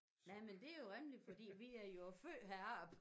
Nej men det er jo rimeligt fordi vi er jo født heroppe